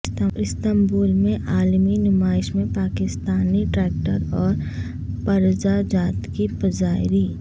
Istanbul میں عالمی نمائش میں پاکستانی ٹریکٹر اور پرزہ جات کی پذیرائی